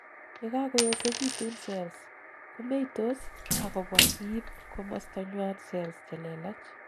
yekakoyosegitun cells, komeitos, ak kobwa iib komostanywan cells chelelach